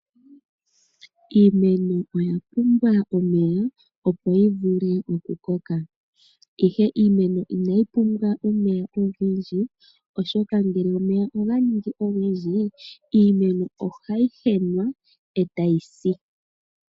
Iimeno oya pumbwa omeya opo yivule oku koka ,ihe Iimeno inayi pumbwa omeya ogendji oshoka ngele omeya oganingi ogendji iimeno ohayi henwa e tayisi.